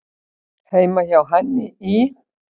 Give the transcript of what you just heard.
Heima hjá henni í